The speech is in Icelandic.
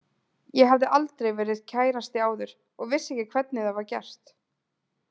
Ég hafði aldrei verið kærasti áður og vissi ekki hvernig það var gert.